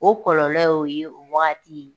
O kɔlɔlɔ ye o ye o wagati